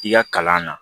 I ka kalan na